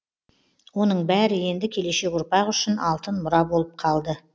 оның бәрі енді келешек ұрпақ үшін алтын мұра болып қалды